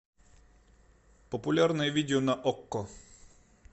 популярное видео на окко